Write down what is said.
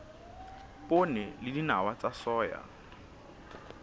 poone le dinawa tsa soya